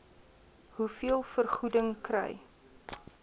hoeveel vergoeding kry